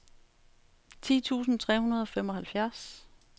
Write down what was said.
ti tusind tre hundrede og femoghalvfjerds